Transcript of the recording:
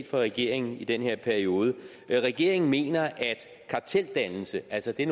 fra regeringen i den her periode regeringen mener at karteldannelse altså det